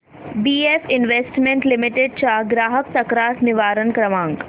BF investment limited चा ग्राहक तक्रार निवारण क्रमांक